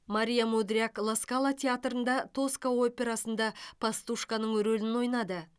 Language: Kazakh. мария мудряк ла скала театрында тоска операсында пастушканың рөлін ойнады